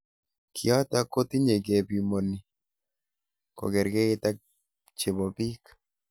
Kiotok kotinye kebimoni kokerkeit ak chebo bik.